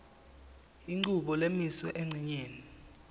inchubo lemiswe encenyeni